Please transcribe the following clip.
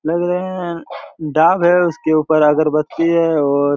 लग रहे हैं डाग हैं उसके ऊपर अगरबत्ती हैं और--